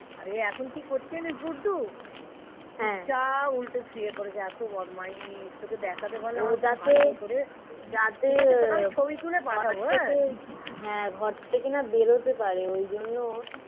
আরে এখন কি করছে জানিস গুডডু সোজাপ উল্টে সুয়ে আছে এতো বদমাইশ. তোকে দেখাতে পারলাম না . যাতে মানে ছবি তুলে পাঠাবো হ্যাঁ. ঘর থেকে না বেরোতে পারে. ওই জন্য